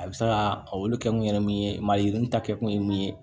A bɛ se ka olu kɛkun ye min ye mayigini ta kɛ kun ye mun ye